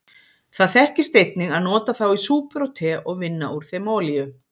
Það þekkist einnig að nota þá í súpur og te og vinna úr þeim olíu.